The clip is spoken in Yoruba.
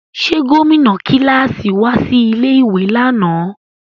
Ṣe gomina kilasi wa si ilé ìwé lánà?